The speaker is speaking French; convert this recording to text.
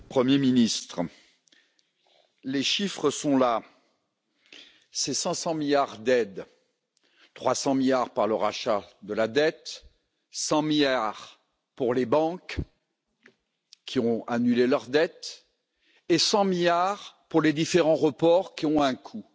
Monsieur le Président, Monsieur le Premier ministre, les chiffres sont là, c'est 500 milliards d'aides 300 milliards par le rachat de la dette, 100 milliards pour les banques qui ont annulé leurs dettes et 100 milliards pour les différents reports, qui ont un coût.